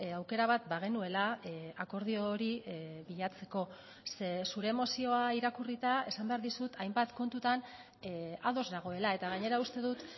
aukera bat bagenuela akordio hori bilatzeko ze zure mozioa irakurrita esan behar dizut hainbat kontutan ados nagoela eta gainera uste dut